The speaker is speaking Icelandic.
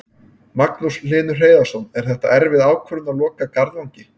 Magnús Hlynur Hreiðarsson: Er þetta erfið ákvörðun að loka Garðvangi?